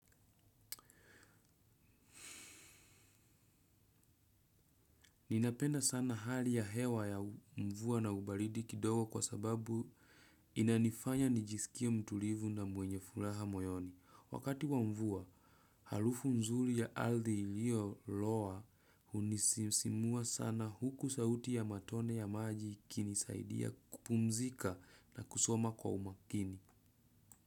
Ninapenda sana hali ya hewa ya mvua na ubaridi kidogo kwa sababu inanifanya nijisikie mtulivu na mwenye fulaha moyoni. Wakati wa mvua, halufu nzuri ya althi iliyo loa unisimua sana huku sauti ya matone ya maji ikini saidia kupumzika na kusoma kwa umakini.